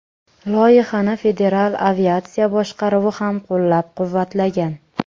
Loyihani Federal aviatsiya boshqaruvi ham qo‘llab-quvvatlagan.